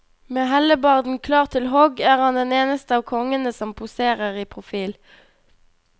Med hellebarden klar til hogg er han den eneste av kongene som poserer i profil.